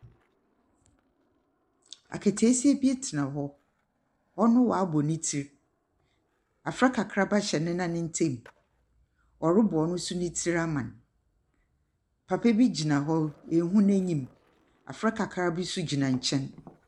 Akataasia bi tsena hɔ, ɔno ɔaba ne tsir, abofra kakraba hyɛ ne nan ntamu. Ɔrobɔ no so ne tsir ama no. Papa bi gyina hɔ no, innhu n’enyim. Abofra kakraba bi nso gyina nkyɛn.